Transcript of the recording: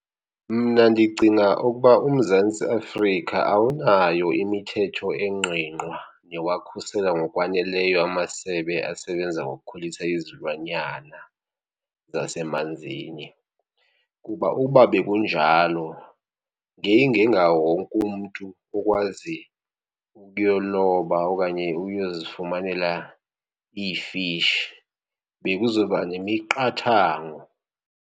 Mna ndicinga ukuba uMzantsi Afrika awunayo imithetho engqingqwa yowakhusela ngokwaneleyo amasebe asebenza ngokukhulisa izilwanyana zasemanzini. Kuba uba bekunjalo ngeyingengawo wonke umntu okwazi ukuyoloba okanye uyozifumanela iifishi bekuzoba nemiqathango.